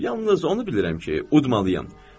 Yalnız onu bilirəm ki, udmalıyam.